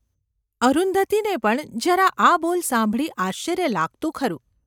અરુંધતીને પણ જરા આ બોલ સાંભળી આશ્ચર્ય લાગતું ખરું.